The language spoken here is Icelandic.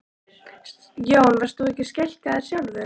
Jón: Varst þú skelkaður sjálfur?